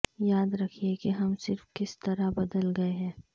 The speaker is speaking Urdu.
یاد رکھیں کہ ہم صرف کس طرح بدل گئے ہیں